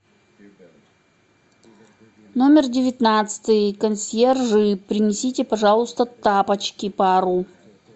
номер девятнадцатый консьержи принесите пожалуйста тапочки пару